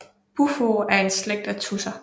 Bufo er en slægt af tudser